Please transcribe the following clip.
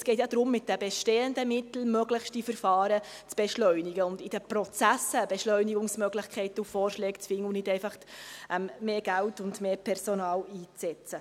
Es geht darum, möglichst mit den bestehenden Mitteln die Verfahren zu beschleunigen und in den Prozessen Beschleunigungsmöglichkeiten und Vorschläge zu finden und nicht einfach mehr Geld und mehr Personal einzusetzen.